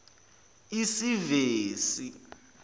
isevisi